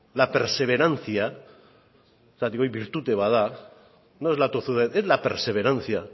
la perseverancia zergatik hori bertute bat da no es la tozudez es la perseverancia